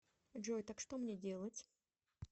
джой так что мне делать